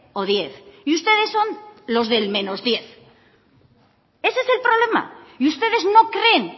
o diez y ustedes son los del diez ese es el problema y ustedes no creen